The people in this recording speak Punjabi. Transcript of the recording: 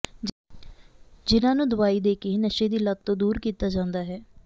ਜਿਨ੍ਹਾਂ ਨੂੰ ਦਵਾਈ ਦੇ ਕੇ ਨਸ਼ੇ ਦੀ ਲੱਤ ਤੋਂ ਦੂਰ ਕੀਤਾ ਜਾਂਦਾ ਹੈ